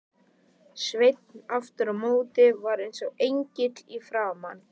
Svenni aftur á móti var eins og engill í framan.